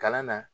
Kalan na